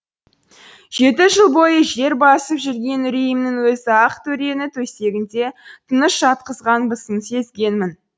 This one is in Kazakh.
жеті жыл бойы жер басып жүрген үрейімнің өзі ақтөрені төсегінде тыныш жатқызбасын сезгенмін